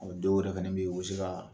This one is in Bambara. O dɔw yɛrɛ fana bɛ yen u bɛ se ka